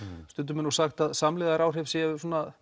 stundum er sagt að samlegðaráhrif sé